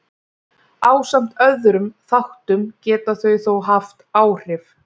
ásamt öðrum þáttum geta þau þó haft áhrif